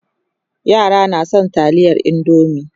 yara na da San taliyar indomie